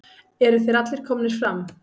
Eru þeir allir komnir fram?